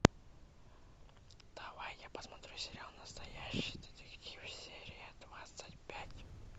давай я посмотрю сериал настоящий детектив серия двадцать пять